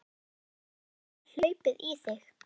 Hvað er eiginlega hlaupið í þig?